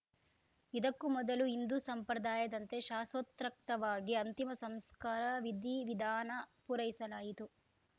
ಇದಕ್ಕೂ ಮೊದಲು ಹಿಂದೂ ಸಂಪ್ರದಾಯದಂತೆ ಶಾಸೊತ್ರೕಕ್ತವಾಗಿ ಅಂತಿಮ ಸಂಸ್ಕಾರ ವಿಧಿವಿಧಾನ ಪೂರೈಸಲಾಯಿತು